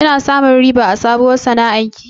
Kina samun riba a sabuwar sana'ar ki?